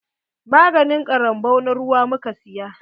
Maganin ƙarambau na ruwa muka siya.